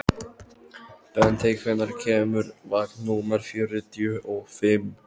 Bentey, hvenær kemur vagn númer fjörutíu og fimm?